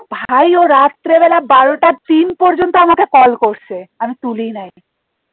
ভাই ও রাত্রে বেলা বারোটা তিন পর্যন্ত আমাকে কল করছে আমি তুলি নাই